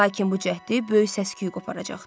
Lakin bu cəhdi böyük səs-küy qoparacaqdı.